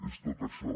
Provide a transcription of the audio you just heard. és tot això